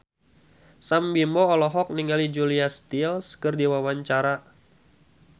Sam Bimbo olohok ningali Julia Stiles keur diwawancara